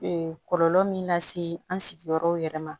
kɔlɔlɔ min lase an sigiyɔrɔw yɛrɛ ma